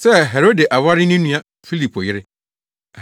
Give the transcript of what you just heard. sɛ, Herode aware ne nua Filipo yere.